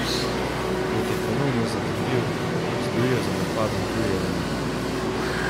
Kot je ponovno zatrdil, stojijo za napadom tuji elementi.